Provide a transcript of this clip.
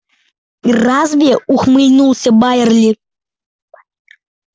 разве ухмыльнулся байерли